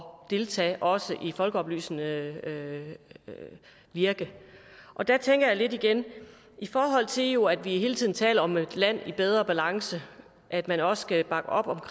deltage også i folkeoplysende virke og der tænker jeg lidt igen i forhold til jo hele tiden taler om et land i bedre balance at man også skal bakke op om